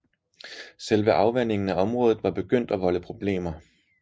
Selve afvandingen af området var begyndt at volde problemer